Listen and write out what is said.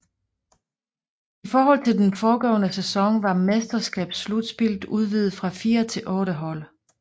I forhold til den foregående sæson var mesterskabsslutspillet udvidet fra fire til otte hold